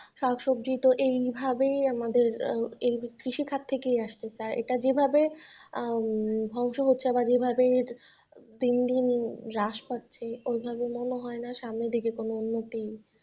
শাক-সবজি তো এই ভাবেই আমাদের এই কৃষি ক্ষেত থেকে আসছে এটা যেভাবে আহ ধ্বংস হচ্ছে আমরা যেভাবে দিন দিন হ্রাস পাচ্ছে এভাবে মনে হয়না সামনের দিকে কোন উন্নতি,